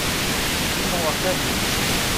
риму аркадьевичу